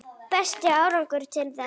Besti árangur til þessa?